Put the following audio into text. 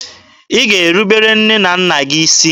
Ị ga-erubere nne na nna gị isi!